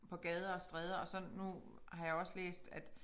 På gader og stræder og så nu har jeg også læst at